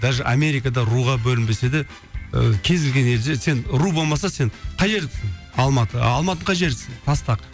даже америкада руға бөлінбесе де ыыы кез келген елде сен ру болмаса сен қай жердікісің алматы алматының қай жерісің тастақ